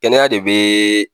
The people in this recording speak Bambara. Kɛnɛya de bee